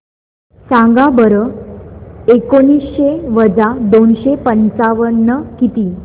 सांगा बरं एकोणीसशे वजा दोनशे पंचावन्न किती